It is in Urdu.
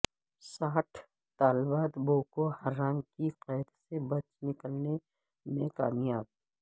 ساٹھ طالبات بوکو حرام کی قید سے بچ نکلنے میں کامیاب